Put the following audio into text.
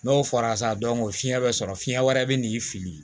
N'o fara sa o fiɲɛ bɛ sɔrɔ fiɲɛ wɛrɛ bɛ n'i fili